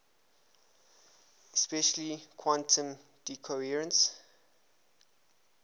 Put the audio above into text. especially quantum decoherence